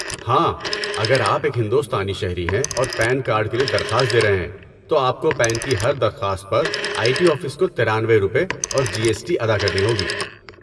ہاں، اگر آپ ایک ہندوستانی شہری ہیں اور پین کارڈ کے لیے درخواست دے رہے ہیں، تو آپ کو پین کی ہر درخواست پر آئی ٹی آفس کو ترانوۓ روپے اور جی ایس ٹی ادا کرنی ہوگی